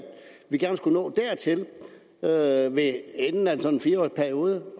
vi gerne skulle nå dertil ved ved enden af en sådan fire periode